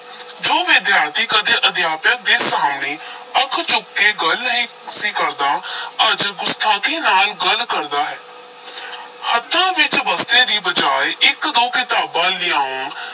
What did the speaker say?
ਜੋ ਵਿਦਿਆਰਥੀ ਕਦੇ ਅਧਿਆਪਕ ਦੇ ਸਾਹਮਣੇ ਅੱਖ ਚੁੱਕ ਕੇ ਗੱਲ ਨਹੀਂ ਸੀ ਕਰਦਾ ਅੱਜ ਗੁਸਤਾਖ਼ੀ ਨਾਲ ਗੱਲ ਕਰਦਾ ਹੈ ਹੱਥਾਂ ਵਿਚ ਬਸਤੇ ਦੀ ਬਜਾਏ ਇਕ-ਦੋ ਕਿਤਾਬਾਂ ਲਿਆਉਣ,